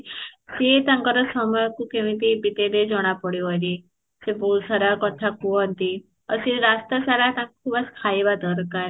ସିଏ ତାଙ୍କର ସମୟ କୁ କେମତି ବିତେଇବେ ଜଣା ପଡିବନି ସେ ବୋହୁତ ସାରା କଥା କୁହନ୍ତି, ଆଉ ସେ ରାସ୍ତା ସାରା ତାଙ୍କୁ ବାସ ଖାଇବା ଦରକାର